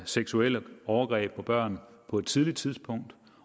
seksuelle overgreb på børn på et tidligt tidspunkt